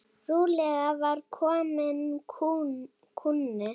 Trúlega var kominn kúnni.